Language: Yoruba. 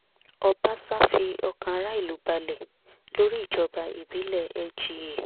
ọbàṣá fi ọkàn ará ìlú balẹ̀ lórí ìjọba ìbílẹ̀ lgá